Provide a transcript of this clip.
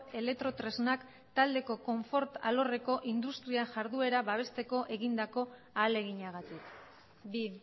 elektrotresnak taldeko konfort alorreko industria jarduera babesteko egindako ahaleginagatik bi